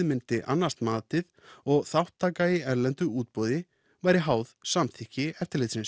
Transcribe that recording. myndi annast matið og þátttaka í erlendu útboði væri háð samþykki